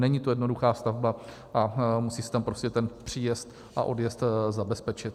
Není to jednoduchá stavba a musí se tam prostě ten příjezd a odjezd zabezpečit.